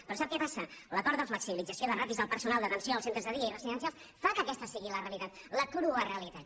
però sap que passa l’acord de flexibilització de ràtios del personal d’atenció als centres de dia i residencials fa que aquesta sigui la realitat la crua realitat